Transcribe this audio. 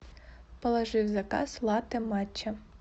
положи в заказ латте матча